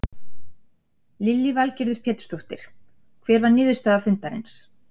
Lillý Valgerður Pétursdóttir: Hver var niðurstaða fundarins?